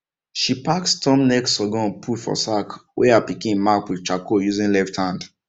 she pack storm neck sorghum put for sack wey her pikin mark with charcoal using left hand